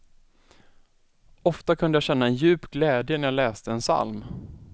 Ofta kunde jag känna en djup glädje när jag läste en psalm.